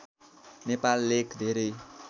नेपाल लेख धेरै